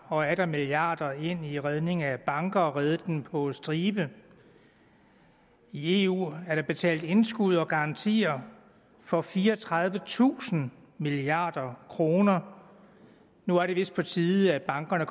og atter milliarder af kroner ind i redningen af banker og har reddet dem på stribe i eu er der betalt indskud og garantier for fireogtredivetusind milliard kroner nu er det vist på tide at bankerne